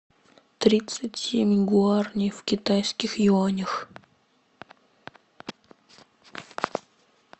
тридцать семь гуарани в китайских юанях